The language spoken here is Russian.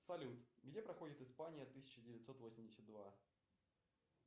салют где проходит испания тысяча девятьсот восемьдесят два